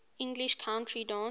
english country dance